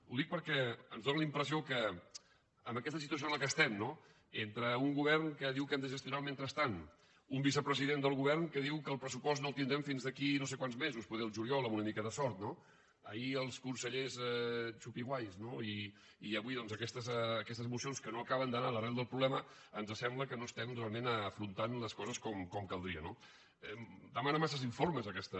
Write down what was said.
ho dic perquè ens dóna la impressió que en aquesta situació en la qual estem no entre un govern que diu que hem de gestionar el mentrestant un vicepresident del govern que diu que el pressupost no el tindrem fins d’aquí no sé quants mesos potser al juliol amb una mica de sort no ahir els consellers chupi guaysmocions que no acaben d’anar a l’arrel del problema ens sembla que no estem realment afrontant les coses com caldria no demana masses informes aquesta